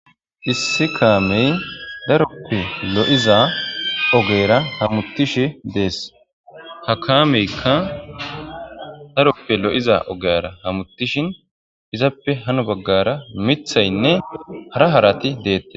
issi kaamey daroppe lo7iza ogera hamuttishi dees ha kaameykka daroppe lo7iza ogera hamutishin izaappe hano baggara mithaynne hara harati deette